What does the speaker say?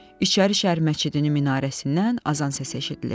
İçərişəhər məscidinin minarəsindən azan səsi eşidilirdi.